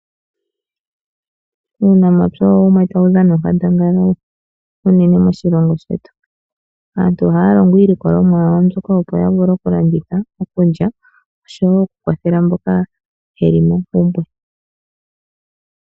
Uunamapya owo wumwe mboka tawu dhana onkandangala uunene moshilongo shetu. Aantu ohaya longo iilikolomwa yawo mbyoka , opo ya vule oku landitha , okulya oshowo oku kwathele mboka yeli mompumbwe.